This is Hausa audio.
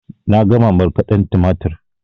Na gama markaden tumatur